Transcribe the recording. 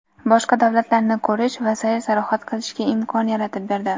boshqa davlatlarni ko‘rish va sayr-sayohat qilishga imkon yaratib berdi.